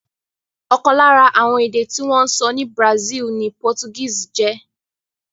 Ọ̀kan lára àwọn èdè tí wọ́n ń sọ ní Brazil ni Portuguese jẹ́.